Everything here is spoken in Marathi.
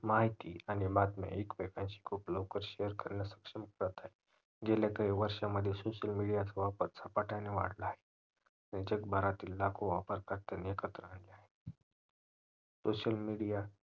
माहिती आणि बातम्या एकमेकांशी खूप लवकर share करण्यामध्ये सक्षम होत आहे गेल्या काही वर्षा मध्ये social media चा वापर झपाट्याने वाढला आहे जगभरातील लाखो वापरकर्त्यांना एकत्र आणिले आहे सोशल मीडिया SOCIAL MEDIA